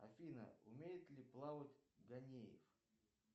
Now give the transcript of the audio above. афина умеет ли плавать ганеев